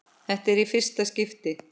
Þetta er í fyrsta skipti.